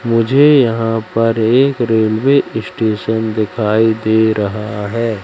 मुझे यहां पर एक रेलवे स्टेशन दिखाई दे रहा है।